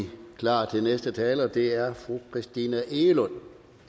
vi klar til næste taler og det er fru christina egelund